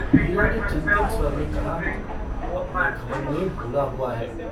हीरा ने चिन्तित स्वर में कहा - अपने घमंड में भूला हुआ है।